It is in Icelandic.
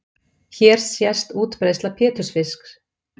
Hér sést útbreiðsla pétursfisks.